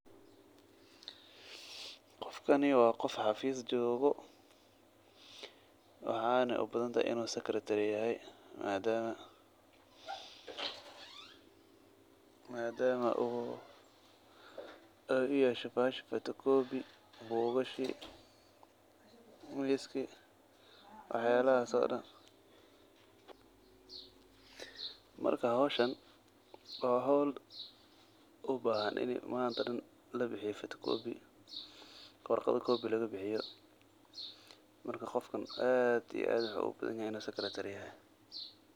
Qofkani wa qof xafis jogoo waxana ubadantahay inu secretary madama ey uyasho kobi, bugashi wax yalahasa oo dan marka howshaan wa howl ubahan inii manta dan labixiyo photocopy warqada kobi lagabixiyo marka aad iyo aad uogyahay in uu secretary yahay.